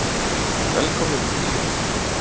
Velkomnir í bíó.